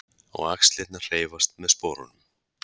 Og axlirnar hreyfast með sporunum.